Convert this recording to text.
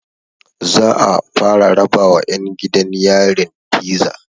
Za'a fara rabawa ƴan gidan yarin fiza